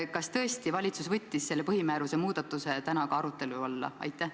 Kas tõesti võttis valitsus selle põhimääruse muudatuse täna arutelu alla?